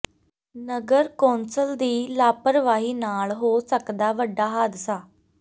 ਨਗਰ council ਦੀ ਲਾਪਰਵਾਹੀ ਨਾਲ ਹੋ ਸਕਦਾ ਵੱਡਾ ਹਾਦਸਾ